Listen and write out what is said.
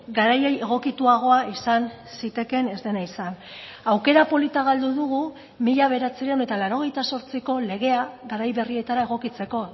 garaiei egokituagoa izan zitekeen ez dena izan aukera polita galdu dugu mila bederatziehun eta laurogeita zortziko legea garai berrietara egokitzeko